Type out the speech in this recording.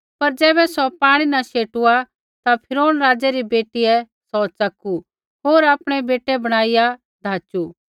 पर ज़ैबै सौ पाणी न शेटुआ ता फिरौन राज़ै री बेटीयै सौ च़कू होर आपणै बेटै बणाइआ धाचू